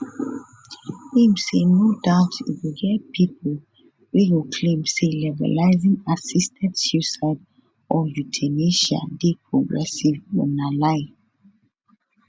im say no doubt e go get pipo wey go claim say legalising assisted suicide or euthanasia dey progressive but na lie